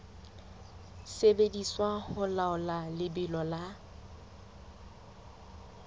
sebediswa ho laola lebelo la